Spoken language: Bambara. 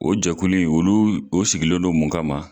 O jɛkulu in olu o sigilendon mun ka ma